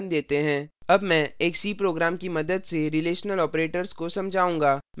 अब मैं एक c program की मदद से relational operators को समझाऊंगा